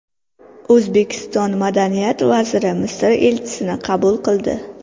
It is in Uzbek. O‘zbekiston madaniyat vaziri Misr elchisini qabul qildi.